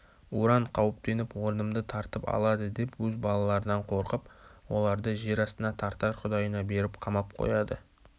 уран қауіптеніп орнымды тартып алады деп өз балаларынан қорқып оларды жер астына тартар құдайына беріп қамап қояды